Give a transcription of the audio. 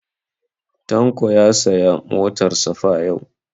Tanko ya saya motar safa yau